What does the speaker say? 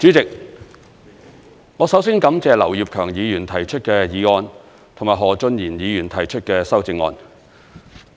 代理主席，我首先感謝劉業強議員提出的議案，以及何俊賢議員提出的修正案。